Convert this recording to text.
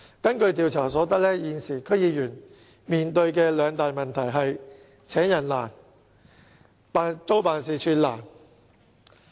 根據調查所得，現時區議員面對的兩大問題是"請人難"和"租辦事處難"。